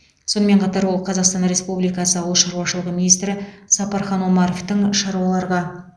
сонымен қатар ол қазақстан республикасы ауыл шаруашылығы министрі сапархан омаровтың шаруаларға